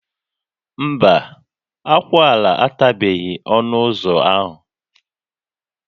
Mba, akwụala atabeghị ọnụ ụzọ ahụ